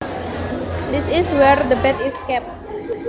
This is where the bed is kept